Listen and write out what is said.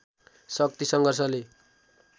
शक्तिसङ्घर्षले